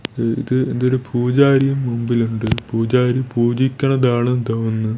ഇത് ഇതൊരു പൂജാരി മുമ്പിലുണ്ട് പൂജാരി പൂജിക്കുന്നതാണെന്ന് തോന്നുന്നു.